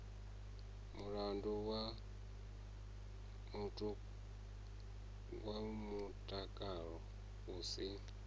mulandu wa mutakalo u si